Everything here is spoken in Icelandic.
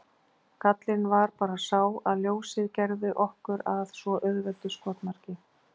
Gallinn var bara sá að ljósið gerði okkur að svo auðveldu skotmarki.